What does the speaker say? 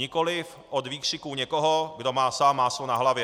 Nikoli od výkřiků někoho, kdo má sám máslo na hlavě.